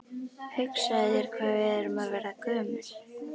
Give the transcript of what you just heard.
Hugsaðu þér hvað við erum að verða gömul.